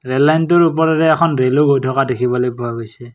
Rail লাইনটোৰ ওপৰেৰে এখন ৰেলও গৈ থকা দেখা পোৱা গৈছে।